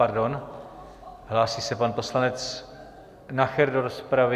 Pardon, hlásí se pan poslanec Nacher do rozpravy.